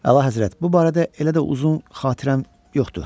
Əlahəzrət, bu barədə elə də uzun xatırəm yoxdur.